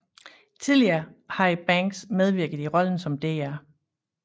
Tidligere havde Banks medvirket i rollen som Dr